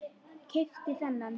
Keypti þennan.